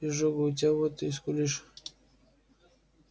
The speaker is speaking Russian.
изжога у тебя вот ты и скулишь